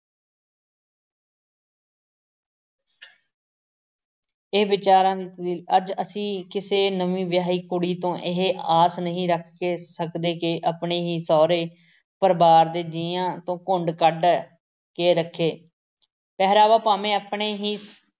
ਇਹ ਵਿਚਾਰਾਂ ਦੀ, ਅੱਜ ਅਸੀਂ ਕਿਸੇ ਨਵੀਂ ਵਿਆਹੀ ਕੁੜੀ ਤੋਂ ਇਹ ਆਸ ਨਹੀਂ ਰੱਖਕੇ ਸਕਦੇ ਕਿ ਆਪਣੇ ਹੀ ਸਹੁਰੇ ਪਰਿਵਾਰ ਦੋ ਜੀਆਂ ਤੋਂ ਘੁੰਡ ਕੱਢ ਕੇ ਰੱਖੇ ਪਹਿਰਾਵਾ ਭਾਵੇਂ ਆਪਣੇ ਹੀ